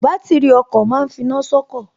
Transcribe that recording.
Bátìrì ọkọ̀ ma ń finá sọ́kọ̀